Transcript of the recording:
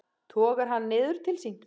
Togar hann niður til sín.